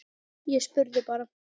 Ég spurði bara.